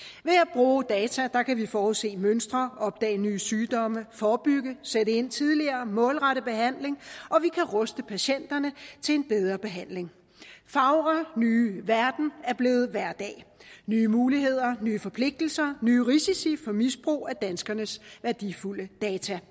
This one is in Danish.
bruge data kan vi forudse mønstre opdage nye sygdomme forebygge sætte ind tidligere og målrette behandling og vi kan ruste patienterne til en bedre behandling fagre nye verden er blevet hverdag nye muligheder nye forpligtelser nye risici for misbrug af danskernes værdifulde data